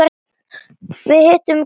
Við hittum Gulla.